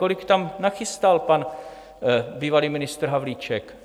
Kolik tam nachystal pan bývalý ministr Havlíček?